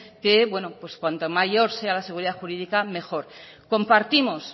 que bueno pues cuanto mayor sea la seguridad jurídica mejor compartimos